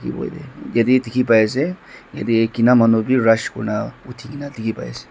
jatte dekhi pai ase jatte kina manu bhi rust kori na dekhi pai ase.